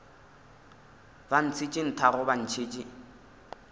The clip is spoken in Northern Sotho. ba ntšhetše nthago ba ntšhetše